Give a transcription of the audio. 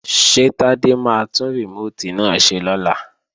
Ṣé Tádé máa tún rìmóòtì náà ṣe lọ́la?